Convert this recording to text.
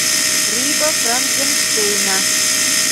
рыба франкенштейна